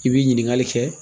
I bi ɲininkali kɛ.